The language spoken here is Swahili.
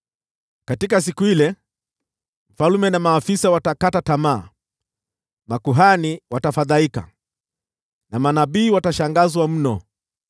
“Katika siku ile,” asema Bwana “mfalme na maafisa watakata tamaa, makuhani watafadhaika, na manabii watashangazwa mno.”